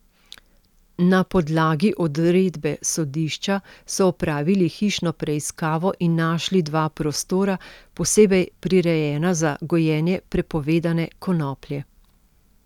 Na podlagi odredbe sodišča so opravili hišno preiskavo in našli dva prostora, posebej prirejena za gojenje prepovedane konoplje.